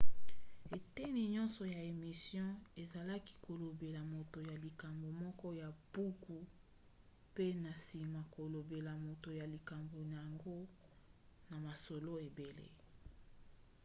eteni nyonso ya émission ezalaki kolobela moto ya likambo moko ya buku pe na nsima kolobela moto ya likambo yango na masolo ebele